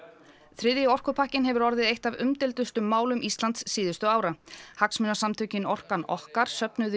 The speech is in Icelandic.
þriðji orkupakkinn hefur orðið eitt af umdeildustu málum síðustu ára hagsmunasamtökin orkan okkar söfnuðu